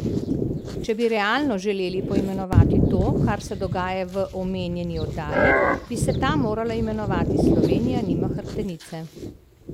Če bi realno želeli poimenovati to, kar se dogaja v omenjeni oddaji, bi se ta morala imenovati Slovenija nima hrbtenice!